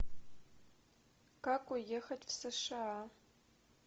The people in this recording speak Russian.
как уехать в сша